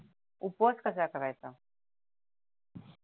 उपवास कसा करायचा